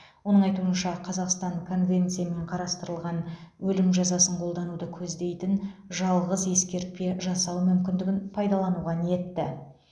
оның айтуынша қазақстан конвенциямен қарастырылған өлім жазасын қолдануды көздейтін жалғыз ескерпе жасау мүмкіндігін пайдалануға ниетті